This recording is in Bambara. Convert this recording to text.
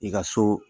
I ka so